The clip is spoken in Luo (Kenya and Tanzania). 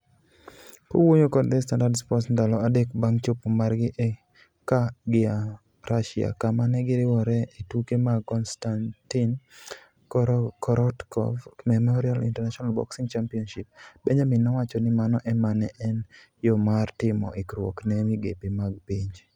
Kowuoyo kod The Standard Sports ndalo adek bang' chopo margi ka gia Russia kama ne giriworee e tuke mag Konstatin Korotkov Memorial International Boxing Championships, Benjamin nowacho ni mano ema ne en yo mar timo ikruok ne migepe mag pinje.